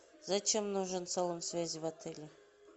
зачем нужен салон связи в отеле